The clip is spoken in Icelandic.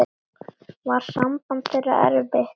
Var samband þeirra erfitt.